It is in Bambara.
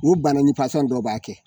U bana nin fasɔn dɔ b'a kɛ